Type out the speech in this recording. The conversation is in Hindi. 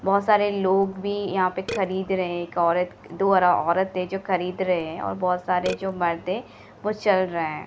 बहोत सारे लोग भी यहाँ पे खरीद रहे है एक औरत-दो औरत है जो खरीद रहे है और बहुत सारे जो मर्द है वो चल रहे है।